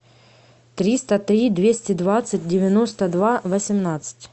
триста три двести двадцать девяносто два восемнадцать